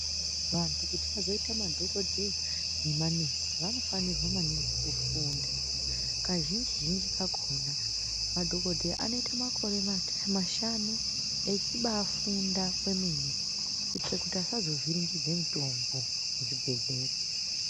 Vantu kuti vazoita madhokodheya nemanesi vanofanirwa maningi kufunda kazhinji zhinji kakona madhokodheya anoite makore mashanu echibafunda kwemene kuitira kuti asazovhiringidze mitombo muchibhedhlera.